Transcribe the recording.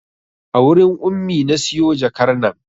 A wurin Ummi na siyo jakar nan